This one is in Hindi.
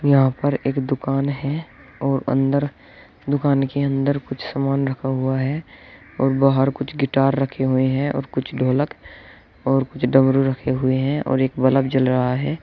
यहां पर एक दुकान है और अंदर दुकान के अंदर कुछ सामान रखा हुआ है और बाहर कुछ गिटार रखें हुए हैं और कुछ ढोलक और कुछ डमरू रखें हुए हैं और एक बल्ब जल रहा है।